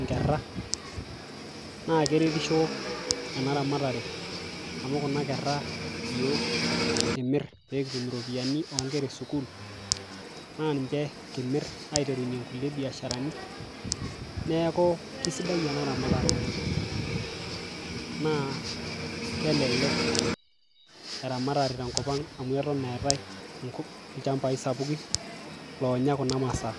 inkerra naa keretisho ena ramatare amu kuna kerra iyiok kimirr pekitm iropiyiani onkera esukul naa ninche kimirr aiterunyie nkulie biasharani neeku kisidai ena ramatare oleng naa kelelek eramatare tenkop ang amu eton etae enkop ilchambai sapukin lonya kuna masaa.